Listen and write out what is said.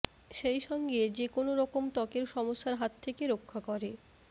সেই সঙ্গে যে কোনোরকম ত্বকের সমস্যার হাত থেকে রক্ষা করে